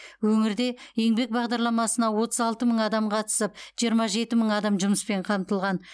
өңірде еңбек бағдарламасына отыз алты мың адам қатысып жиырма жеті мың адам жұмыспен қамтылған